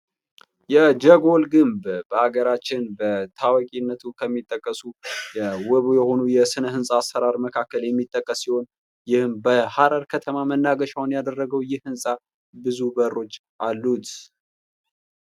የጀጎል ግንብ በሀገራችን በታዋቂነቱ ከሚጠቀሱ የውብ የሆኑ የስነ ህንፃ አሰራር መካከል የሚጠቀስ ሲሆን ይህም በሐረር ከተማ መናገሻውን ያደረገው ይህ ህንፃ ብዙ በሮች አሉት ::